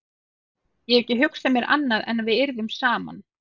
Ég hef ekki hugsað mér annað en að við yrðum saman.